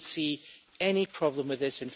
I do not see any problem with this.